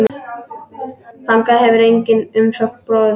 Þangað hefur engin umsókn borist.